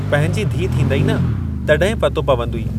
पंहिंजी धीउ थींदइ न, तॾहिं पतो पवंदुइ।